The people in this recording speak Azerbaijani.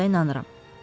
Canınıza inanıram.